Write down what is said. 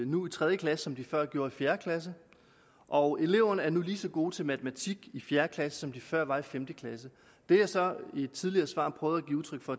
nu i tredje klasse som de før gjorde i fjerde klasse og eleverne er nu lige så gode til matematik i fjerde klasse som de før var i femte klasse det jeg så i et tidligere svar prøvede at give udtryk for